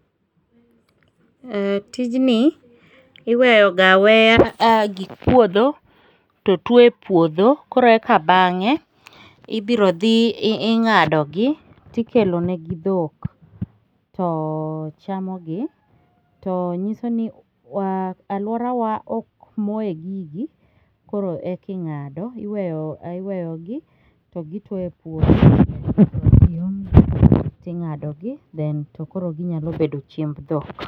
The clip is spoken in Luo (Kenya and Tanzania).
Tijni iweyoga aweya gik puodho to tuwo e puodho ,koreka bang'e, ibiro dhi ing'adogi tikelonegi dhok, to chamogi, to nyiso ni alworawa ok moye gigi, koro eki ng'ado, iweyogi to gituwo e puodho to idhi omgi, ting'adogi then tokoro ginyalo bedo chiemb dhok.